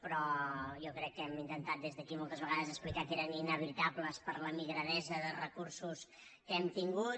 però jo crec que hem intentat des d’aquí moltes vegades explicar que eren inevitables per la migradesa de recursos que hem tingut